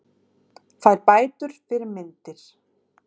Fær bætur fyrir myndir